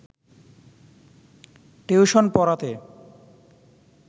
tuition পড়াতে